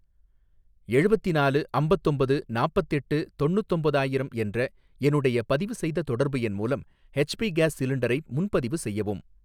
எழுவத்திநாலு அம்பத்தொம்பது நாப்பத்தெட்டு தொண்ணுத்தொம்பதாயிரம் என்ற என்னுடைய பதிவுசெய்த தொடர்பு எண் மூலம் ஹெச் பி கேஸ் சிலிண்டரை முன்பதிவு செய்யவும்.